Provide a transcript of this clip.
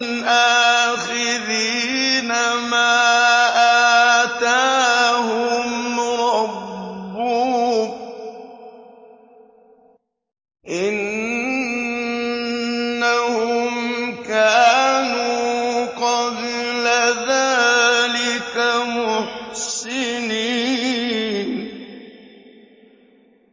آخِذِينَ مَا آتَاهُمْ رَبُّهُمْ ۚ إِنَّهُمْ كَانُوا قَبْلَ ذَٰلِكَ مُحْسِنِينَ